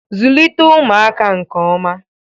Zụlite ụmụaka nke oma.